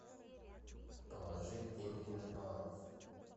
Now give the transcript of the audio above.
положить деньги на баланс